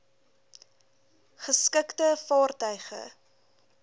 geskikte vaartuig e